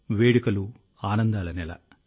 వేడుకలు ఆనందాల నెల